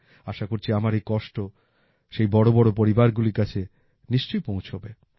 আশা করছি আমার এই কষ্ট সেই বড় বড় পরিবারগুলির কাছে নিশ্চয়ই পৌঁছাবে